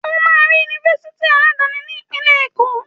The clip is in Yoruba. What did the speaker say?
Ó máa rí Yunifásitì aládani ní ìpínlẹ̀ Èkó.